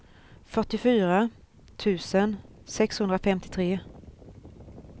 fyrtiofyra tusen sexhundrafemtiotre